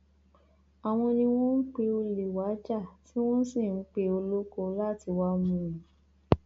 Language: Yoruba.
àwọn ni wọn ń pe olè wàá jà tí wọn sì ń pe olóko láti wáá mú un